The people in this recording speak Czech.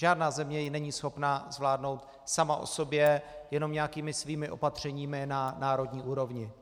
Žádná země ji není schopna zvládnout sama o sobě jenom nějakými svými opatřeními na národní úrovni.